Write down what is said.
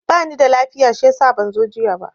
Ba nida lafiya shiyasa ban zo jiya ba.